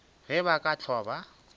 ge ba ka hlwa ba